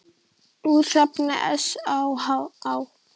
Úr safni SÁA.